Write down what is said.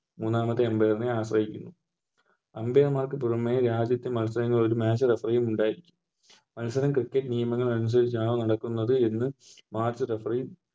മൂന്നാമത്തെ Umpire നെ ആശ്രയിക്കുന്നു Umpire മാർക്ക് പുറമെ ഈ ആദ്യത്തെ മത്സരങ്ങളിൽ Match referee ഉണ്ടായിരിക്കും മത്സരം Cricket നിയമങ്ങൾ അനുസരിച്ചാണ് നടക്കുന്നത് എന്ന് Match referee